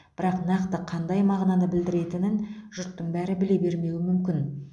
бірақ нақты қандай мағынаны білдіретінен жұрттың бәрі біле бермеуі мүмкін